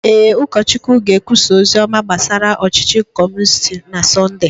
Ee, ụkọchukwu ga-ekwusa ozi ọma gbasara ọchịchị Kọmunisti na Sọnde.